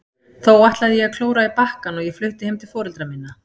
Þó ætlaði ég að klóra í bakkann og ég flutti heim til foreldra minna.